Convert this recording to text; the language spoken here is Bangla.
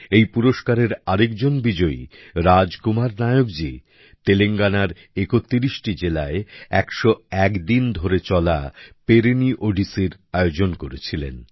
এই পুরস্কারের আরেকজন বিজয়ী রাজ কুমার নায়ক জী তেলেঙ্গানার ৩১টি জেলায় ১০১ দিন ধরে চলা পেরিনি ওডিসির আয়োজন করেছিলেন